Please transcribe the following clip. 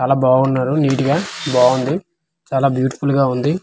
చాలా బావున్నారు నీట్గా బావుంది చాలా బ్యూటిఫుల్గా ఉంది.